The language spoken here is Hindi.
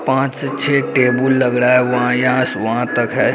पाँच से छे टेबुल लग रहा है। वहाँ यहाँ से वहाँ तक है।